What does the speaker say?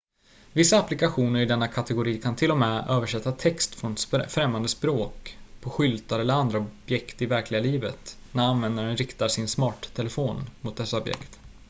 vissa applikationer i denna kategori kan till och med översätta text på främmande språk på skyltar eller andra objekt i verkliga livet när användaren riktar sin smarttelefon mot dessa objekt